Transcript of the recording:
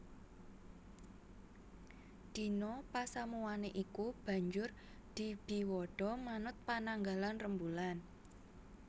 Dina pasamuwané iku banjur dibiwada manut pananggalan rembulan